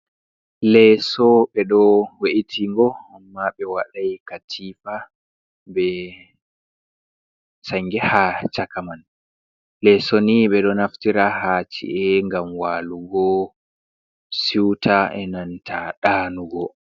Leso ɓeɗo we, itingo, amma ɓe waɗai katifa, be sange ha chakaman. Leso ni ɓeɗo naftira ha ci, a ngam walugo siwta e nanta ɗanugo.